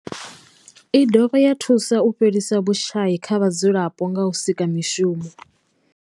I dovha ya thusa u fhelisa vhushayi kha vhadzulapo nga u sika mishumo.